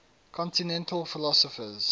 continental philosophers